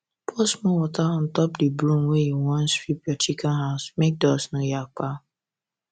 pour small water untop the broom when u wan sweep your chicken house make dust no yakpa